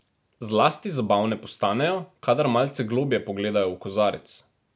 Zlasti zabavne postanejo, kadar malce globlje pogledajo v kozarec.